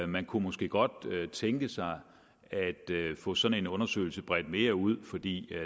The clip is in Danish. man kunne måske godt tænke sig at få sådan en undersøgelse bredt mere ud fordi